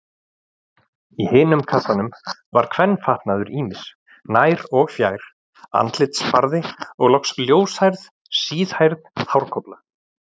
Í hinum kassanum var kvenfatnaður ýmis, nær- og fjær-, andlitsfarði og loks ljóshærð, síðhærð hárkolla.